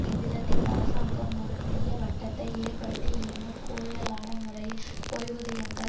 இவ்விதத்தில் அரசாங்கம் ஒரு தீயவட்டத்தை ஏற்படுத்தி இன்னும் கூடுதலான முறையில் ஓய்வூதியங்கள்